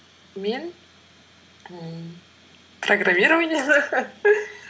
мен ммм программированияны